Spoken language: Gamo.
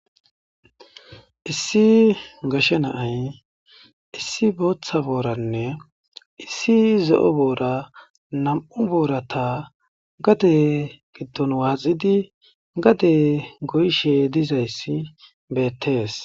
Issi gashe na'ay issi bootha boorane issi zo'o boora nam'u boorata gade gidon waaxidi gade goyishe dizaysi beetes.